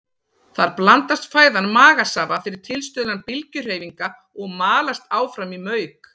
Þar blandast fæðan magasafa fyrir tilstuðlan bylgjuhreyfinga og malast áfram í mauk.